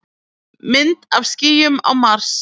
Mynd af skýjum á Mars.